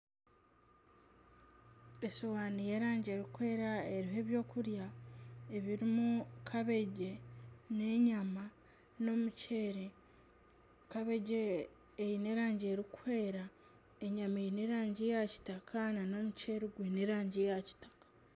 Esowaani y'erangi erikwera eriho ebyokurya ebirimu kabegi n'enyama n'omuceeri, kabegi eine erangi erikwera, enyama eine erangi ya kitaka nana omuceeri gwine erangi ya kitaka